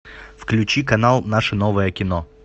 включи канал наше новое кино